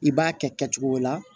I b'a kɛ kɛcogo la